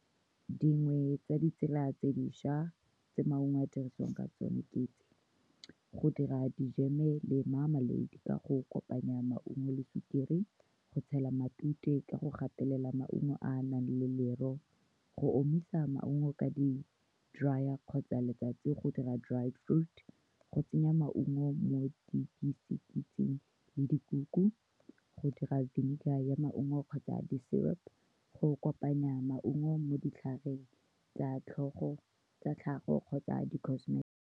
Dingwe tsa ditsela tse dišwa tse maungo a dirisiwang ka tsone ke tse go dira dijeme , ka go kopanya maungo le sukiri, go tshela matute ka go gatelela maungo a a nang le , go omisa maungo ka di dryer-ra kgotsa letsatsi, go dira dried food, go tsenya maungo mo le dikuku, go dira vinegar ya maungo kgotsa di-syrup-po, go kopanya maungo mo ditlhareng tsa tlhogo, tsa tlhago kgotsa di .